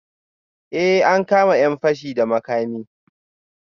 Eh, an kama ‘yan fashi da makami